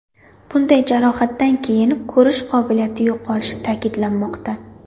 Bunday jarohatdan keyin ko‘rish qobiliyati yo‘qolishi ta’kidlanmoqda.